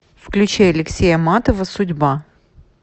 включи алексея матова судьба